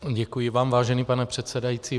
Děkuji vám, vážený pane předsedající.